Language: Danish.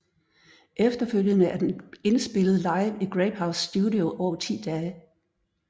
Efterfølgende er den indspillet live i Grapehouse Studio over 10 dage